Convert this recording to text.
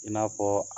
I n'a fɔ